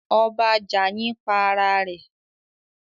Ọba Jàyin pa ara rẹ̀